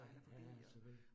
Ja, ja ja selvfølgelig